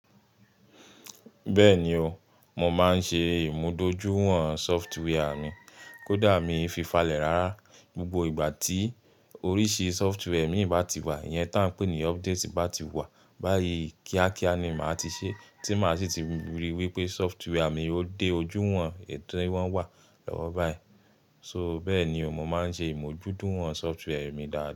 Bẹ́ẹ̀ni o, mo máa ń ṣe ìmúdójúwọ̀n software mi. Kódà mi i fi falẹ̀ rárá, gbogbo ìgbà tí oríṣi software mi bá ti wà, ìyẹn tá ń pè ní update bá ti wà, báyi kíákíá ni màá ti ṣe, tí màá sì ti ríi wípé software mi o dé ojú wọ̀n èyi tí wọ́n wà lọ́wọ́ báyìí. Soo bẹ́ẹ̀ni o, mo máa ń ṣe ìmojuduwọ̀n software mi dá.